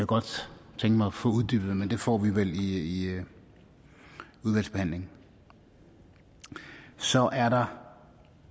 godt tænke mig at få uddybet men det får vi vel i udvalgsbehandlingen så er der